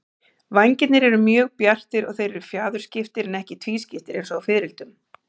Vængirnir eru mjög bjartir og þeir eru fjaðurskiptir en ekki tvískiptir eins og á fiðrildum.